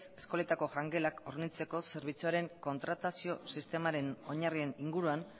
eskoletako jangelak hornitzeko zerbitzuaren kontratazio sistemaren oinarrian inguruan